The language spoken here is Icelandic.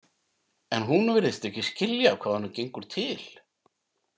En hún virðist ekki skilja hvað honum gengur til.